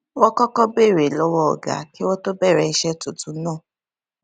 wón kókó béèrè lówó ọga kí wón tó bèrè iṣé tuntun náà